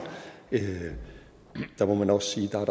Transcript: må man også sige at der er